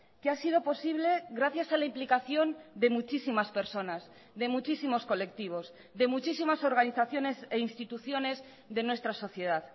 que ha sido posible gracias a la implicación de muchísimas personas de muchísimos colectivos de muchísimas organizaciones e instituciones de nuestra sociedad